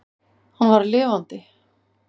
Hann var lifandi!